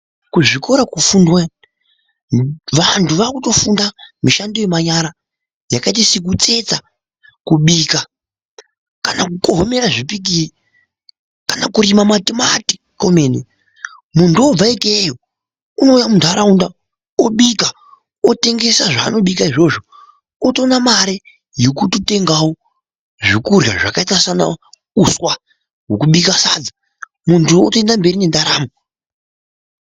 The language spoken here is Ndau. Kuzvikora kofundwa iyo ! Vantu vakutofunda mishando yemanyara yakaita sekutsetsa ,kubika kana kukohomera zvipikiri, kana kurima matimati komene .Muntu obva ikeyo ,unouya munharaunda obika otengesa zvaanobika zvona izvozvo otona mare yekutengawo zvekuryha zvakaita seuswa wekubika sadza ,muntu otenda mberi neraramo